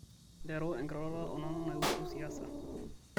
nteru enkiroroto o nanu naiusu siasa